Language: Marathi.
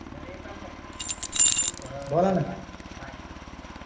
बरं एक काम कर तुला थोड्या वेळाने bye